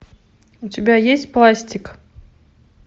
у тебя есть пластик